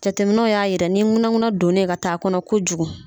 Jateminɛw ya yira ni ŋunanŋunan donnen ka taa a kɔnɔ kojugu.